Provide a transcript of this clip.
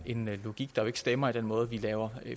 en logik der stemmer med den måde vi laver